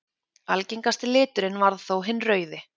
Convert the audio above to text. Algengasti liturinn varð þó hinn rauði.